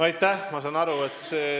Aitäh!